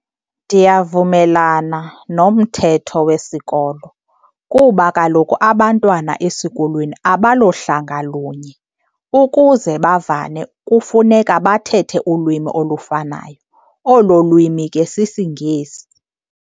Ndiyavumelana nomthetho wesikolo kuba kaloku abantwana esikolweni abalohlanga lunye. Ukuze bavane kufuneka bathethe ulwimi olufanayo, olo lwimi ke sisiNgesi.